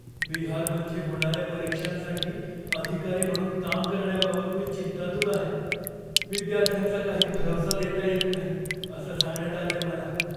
बिहारमध्ये होणाऱ्या परीक्षांसाठी अधिकारी म्हणून काम करण्याबाबत मी चिंतातूर आहे. विद्यार्थ्यांचा काही भरवसा देता येत नाही असं सांगण्यात आलंय मला.